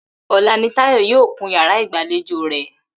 Ò̩la ni Táyò̩ yóò kun yàrá ìgbàlejò rè̩